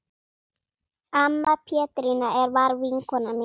Amma Petrína var vinkona mín.